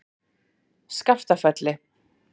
Skaftafelli